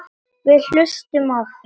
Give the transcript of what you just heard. Við hlustum á þig.